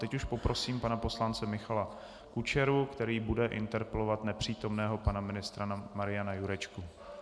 Teď už poprosím pana poslance Michala Kučeru, který bude interpelovat nepřítomného pana ministra Mariana Jurečku.